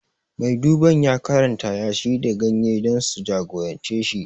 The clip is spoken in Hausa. Mai duban ya karanta yashi da ganye dan su jagorance shi